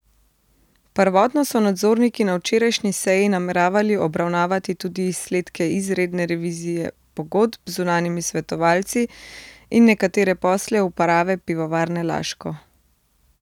Prvotno so nadzorniki na včerajšnji seji nameravali obravnavati tudi izsledke izredne revizije pogodb z zunanjimi svetovalci in nekatere posle uprave Pivovarne Laško.